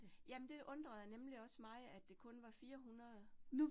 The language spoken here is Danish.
Jamen det undrede nemlig også mig, at det kun var 400